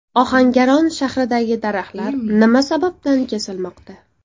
Ohangaron shahridagi daraxtlar nima sababdan kesilmoqda?